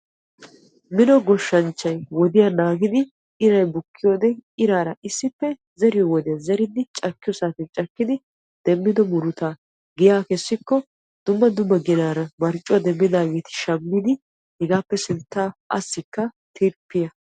minno goshshanchchay wodiyaa naagidi iray bukkiyoode iraara issippe zeriyoo wodiyaan zeridi cakkiyo saatiyaan cakkidi demmido murutaa giyya kessikko dumma dumma ginaara marccuwaa demmidaageeti shammidi hegappe sinttaa assikka tirppiya ...